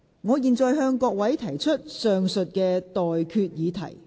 我現在向各位提出上述待決議題。